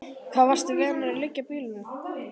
Hvar varstu vanur að leggja bílnum?